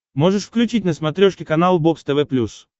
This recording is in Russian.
можешь включить на смотрешке канал бокс тв плюс